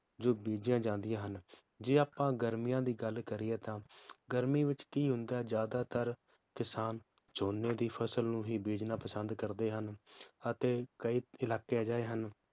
ਜੋ ਬੀਜੀਆਂ ਜਾਂਦੀਆਂ ਹਨ ਜੇ ਆਪਾਂ ਗਰਮੀਆਂ ਦੀ ਗੱਲ ਕਰੀਏ ਤਾਂ ਗਰਮੀ ਵਿਚ ਕੀ ਹੁੰਦਾ ਹੈ ਜ਼ਆਦਾਤਰ ਕਿਸਾਨ ਝੋਨੇ ਦੀ ਫਸਲ ਨੂੰ ਹੀ ਬੀਜਣਾ ਪਸੰਦ ਕਰਦੇ ਹਨ ਅਤੇ ਕਯੀ ਇਲਾਕੇ ਅਜਿਹੇ ਹਨ